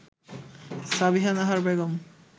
Sabiha Nahar Begum